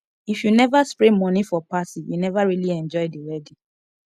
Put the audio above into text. if you never spray money for party you never really enjoy the wedding